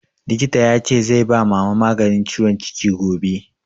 Likita ya ce zai ba Mama maganin ciwon ciki gobe